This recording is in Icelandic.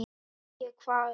Fékk ég hvað?